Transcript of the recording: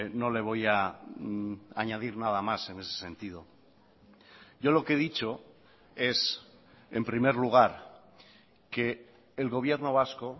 no le voy a añadir nada más en ese sentido yo lo que he dicho es en primer lugar que el gobierno vasco